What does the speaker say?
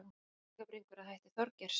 Klókar kjúklingabringur að hætti Þorgeirs